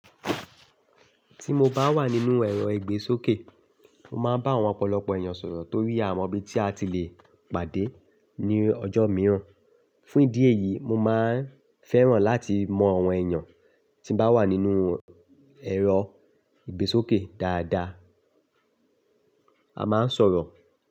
Tí mo bá wà nínú ẹ̀rọ ìgbésókè, mo máa ń bá àwọn ọ̀pọ̀lọpọ̀ èèyàn sọ̀rọ̀ torí àmo ibi tí a ti le pàdé ní ọjọ́ mìíràn. Fún ìdí èyí, mo máa ń fẹ́ràn láti mọ àwọn èèyàn tí bá wà nínú ẹ̀rọ ìgbésókè dáadáa. A máa ń sọ̀rọ̀.